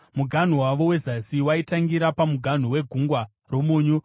Muganhu wavo wezasi waitangira pamuganhu weGungwa roMunyu,